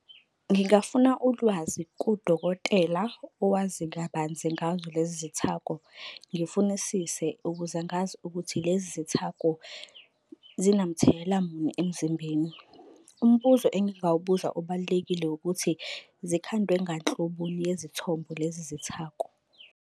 Ngingafuna ulwazi kudokotela owazi kabanzi ngazo lezi zithako. Ngifunisise ukuze ngazi ukuthi lezi zithako zinamthelela muni emzimbeni. Umbuzo engingawubuza obalulekile ukuthi zikhandwe nganhloboni yezithombo lezi zithako.